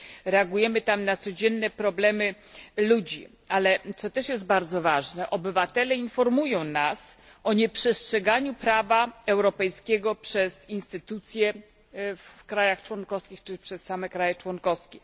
Reagujemy tam na codzienne problemy ludzi, ale co też jest bardzo ważne, obywatele informują nas o nieprzestrzeganiu prawa europejskiego przez instytucje w krajach członkowskich, czy przez same kraje członkowskie.